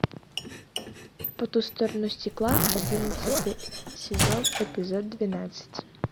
по ту сторону стекла одиннадцатый сезон эпизод двенадцать